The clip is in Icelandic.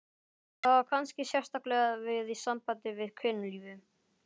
Það á kannski sérstaklega við í sambandi við kynlífið.